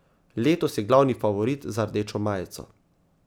Letos je glavni favorit za rdečo majico.